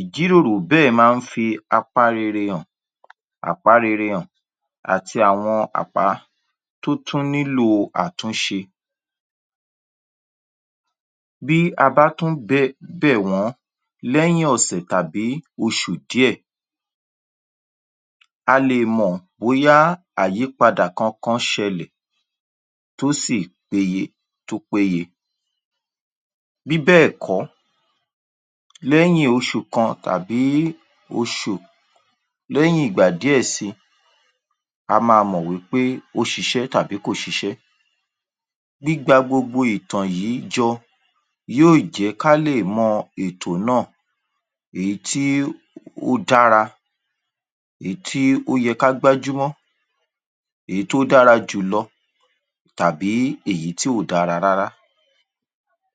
Ìjíròrò bẹ́ẹ̀ máa ń fi apá rere hàn àpá rere hàn àti àwọn àpá tó tún nílò àtúnṣe. Bí a bá tún bẹ̀ wọ́n lẹ́yìn ọ̀sẹ̀ tàbí oṣù díẹ̀ a lè mọ̀ bóyá àyyípadà kankan ṣẹlẹ̀ tó si peye tó péye. Bí bẹ́ẹ̀ kọ́, lẹ́yìn oṣù kan tàbí oṣù lẹ́yìn ìgbà díẹ̀ si a máa mọ̀ wí pé ó ṣiṣẹ́ tàbí kò ṣiṣẹ́. Gbígba gbogbo ìtàn yí jọ yó jẹ́ ká lè mọ ètò náà èyí tí ó dára, èyí tí ó yẹ ká gbájú mọ́, èyí tó dára jù lọ tàbí èyí tí ò dára rárá.